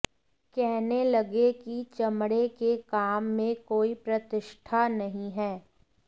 कहने लगे कि चमड़े के काम में कोई प्रतिष्ठा नहीं है